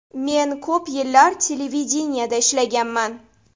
Men ko‘p yillar televideniyeda ishlaganman.